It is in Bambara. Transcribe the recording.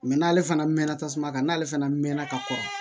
n'ale fana mɛnna tasuma kan n'ale fɛnɛ mɛnna ka kɔrɔ